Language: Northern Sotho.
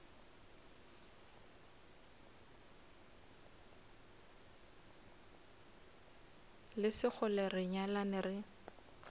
le sekgole re nyalane re